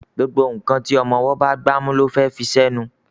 gbógbó nkán tí ọmọ ọwo bá gbámú ló fé fí ṣe nù